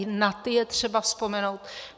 I na ty je třeba vzpomenout.